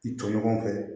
I tɔɲɔgɔn kɛ